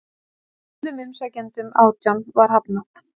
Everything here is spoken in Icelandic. Öllum umsækjendunum átján var hafnað